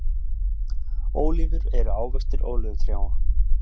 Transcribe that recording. Ólífur eru ávextir ólífutrjáa.